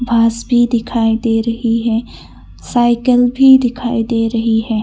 बांस भी दिखाई दे रही है साईकल भी दिखा दे रही है।